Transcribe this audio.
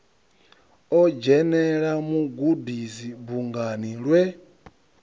o dzhenela mugudisi bungani lwe